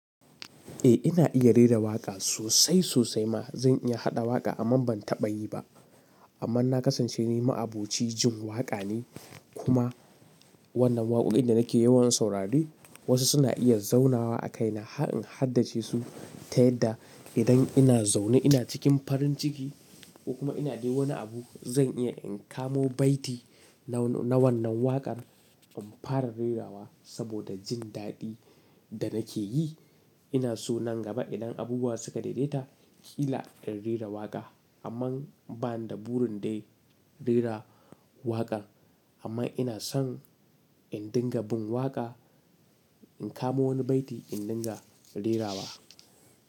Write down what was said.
Eh, ina iya rera waƙa sosai sosai ma. Zan iya haɗa waƙa amma ban taɓa yi ba. Amma na kasance ni ma'aboci jin waƙa ne kuma wannan waƙoƙin da nake yawan saurari wasu suna iya zaunawa a kaina. Har in haddace su ta yadda idan ina zaune ina cikin farin ciki kuma ina dai wani abu zan iya in kamo baiti na wannan waƙar in fara rerawa saboda jin daɗi da nake yi. Ina so nan gaba idan abubuwa suka daidaita, kila in rera waƙa amma ba ni da burin dai rera waƙa, amma ina son in dinga bin waƙa, in kamo wani baiti, in dinga rerawa.